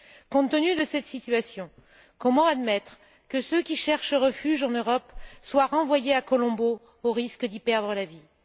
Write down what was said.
Compte tenu de cette situation, comment admettre que ceux qui cherchent refuge en Europe soient renvoyés à Colombo au risque d'y perdre la vie?